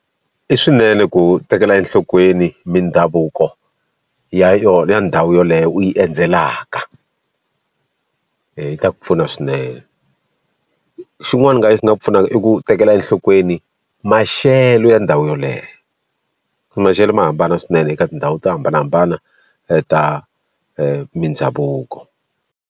I swinene ku tekela enhlokweni mindhavuko ya yona ya ndhawu yoleyo u yi endzelaka yi ta ku pfuna swinene xin'wana u nga yi nga pfunaka i ku tekela enhlokweni maxelo ya ndhawu yoleyo maxelo ma hambana swinene eka tindhawu to hambanahambana ta mindhavuko.